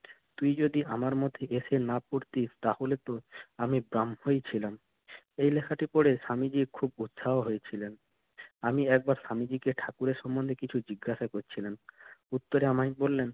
তুই যদি আমার মধ্যে এসে না পড়তিস তাহলেতো আমি ব্রাহ্মই ছিলাম। এই লেখাটি পড়ে স্বামীজির খুব উৎসাহ হয়েছিল। আমি একবার স্বামীজিকে ঠাকুরের সম্বন্ধে কিছু জিজ্ঞাসা করছিলাম উত্তরে আমাকে বললেন